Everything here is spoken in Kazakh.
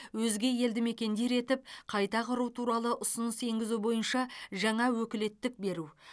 өзге елді мекендер етіп қайта құру туралы ұсыныс енгізу бойынша жаңа өкілеттік беру